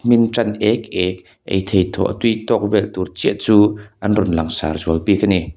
a hmin tan ek ek ei theih tawh tui tawk vel tur chiah chu an rawn langsar zual bik ani.